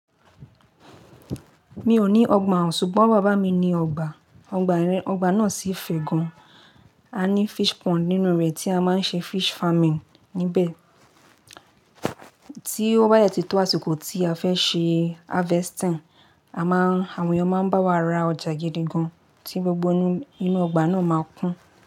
Mi ò ní ọgbà, ṣùgbọ́n bàbá mi ní ọgbà. Ọgbà náà sì fè gan. A ní fish pond nínú rẹ̀ tí a máa ń ṣe fish farming níbẹ̀. Tí ó bá yẹ ti tó àsìkò tí a fẹ́ ṣe harvesting, àma awọn èèyàn máa ń bá wa ra ọjà gidi gan tí gbogbo inú ọgbà náà máa kún.